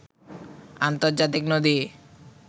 আর্ন্তজাতিক নদী